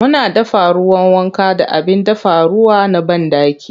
Muna dafa ruwan wanka da abin dafa ruwa na banɗaki.